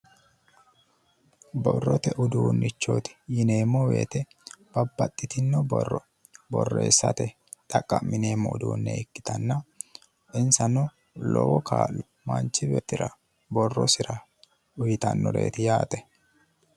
Borrote uduunichooti yineemo woyite babbaxitino borro borreesate xaqqa'mineemo uduune ikkitana inisano lowo kaa'lo manichi beetira borrosira uyitannoreeti yaate